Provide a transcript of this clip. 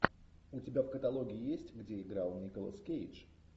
у тебя в каталоге есть где играл николас кейдж